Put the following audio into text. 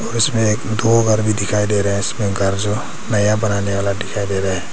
और उसमें एक दो घर भी दिखाई दे रहे है इसमें घर जो नया बनाने वाला दिखाई दे रहे है।